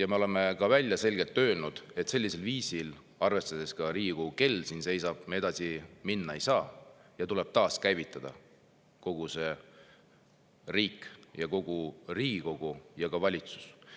ja me oleme ka selgelt välja öelnud, et sellisel viisil, seiskunud nagu Riigikogu kell, me edasi minna ei saa ja kogu riik, kogu Riigikogu ja ka valitsus tuleb taaskäivitada.